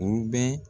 U bɛ